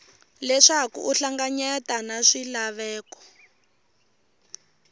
leswaku u hlanganyetane na swilaveko